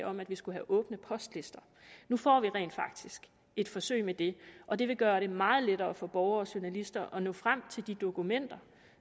om at vi skulle have åbne postlister nu får vi rent faktisk et forsøg med det og det vil gøre det meget lettere for borgere og journalister at nå frem til de dokumenter